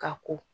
Ka ko